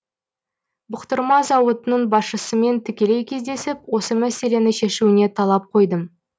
бұқтырма зауытының басшысымен тікелей кездесіп осы мәселені шешуіне талап қойдым